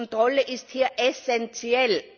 Die Kontrolle ist hier essenziell!